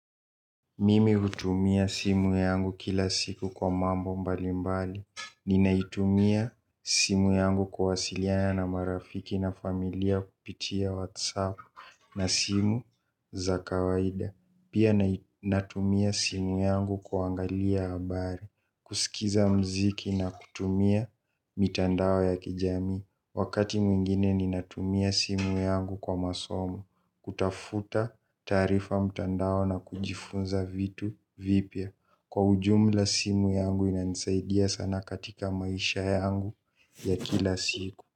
Mimi kutumia simu yangu kila siku kwa mambo mbali mbali. Ninaitumia simu yangu kwa wasiliana na marafiki na familia kupitia WhatsApp na simu za kawaida. Pia natumia simu yangu kuangalia habari, kusikiza mziki na kutumia mitandao ya kijamii. Wakati mwingine ninatumia simu yangu kwa masomo. Kutafuta taarifa mtandao na kujifunza vitu vipya. Kwa ujumla simu yangu inanisaidia sana katika maisha yangu ya kila siku.